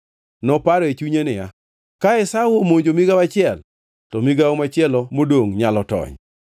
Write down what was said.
Noparo e chunye niya, “Ka Esau omonjo migawo achiel, to migawo machielo modongʼ nyalo tony.”